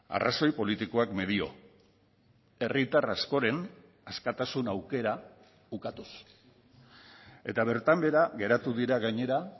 arrazoi politikoak medio herritar askoren askatasun aukera ukatuz eta bertan behera geratu dira gainera